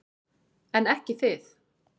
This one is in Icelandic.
En ekki þið.